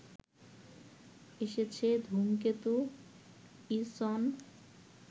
এসেছে ধূমকেতু ইসন